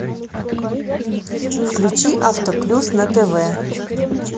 включи авто плюс на тв